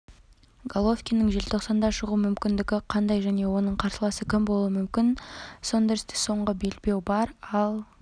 головкиннің желтоқсанда шығу мүмкіндігі қандай және оның қарсыласы кім болуы мүмкін сондерсте соңғы белбеу бар ал